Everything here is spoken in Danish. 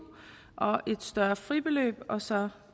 og et større fribeløb og så